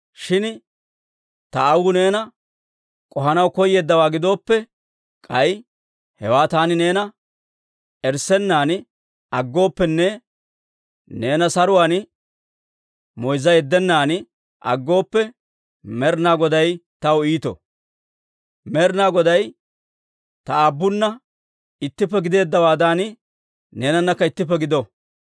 Shin ta aawuu neena k'ohanaw koyeeddawaa gidooppe, k'ay hewaa taani neena erissennan aggooppenne neena saruwaan moyzza yeddennan aggooppe, Med'inaa Goday taw iito! Med'inaa Goday ta aabunna ittippe gideeddawaadan neenanakka ittippe gido.